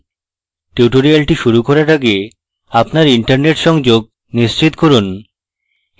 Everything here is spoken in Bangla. tutorial শুরু করার আগে আপনার internet সংযোগ নিশ্চিত করুন